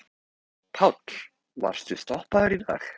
Páll: Varstu stoppaður í dag?